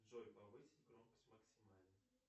джой повысить громкость максимально